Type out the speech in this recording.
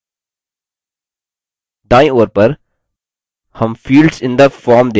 दायीं ओर पर हम fields in the form देखते हैं